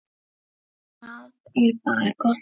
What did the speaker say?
Það er bara gott mál.